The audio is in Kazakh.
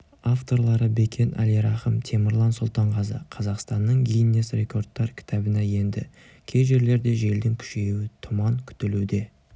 авторлары бекен әлирахым темірлан сұлтанғазы қазақстанның гиннесс рекордтар кітабына енді кей жерлерде желдің күшеюі тұман күтілуде